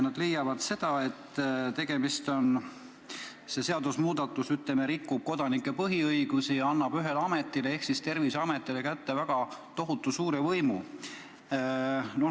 Nad leiavad, et see seadusemuudatus rikub kodanike põhiõigusi ja annab ühele ametile ehk Terviseametile kätte tohutu suure võimu.